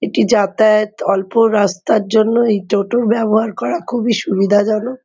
এটি যাতায়াত অল্প রাস্তার জন্য এই টোটো ব্যবহার করা খুবই সুবিধাজনক।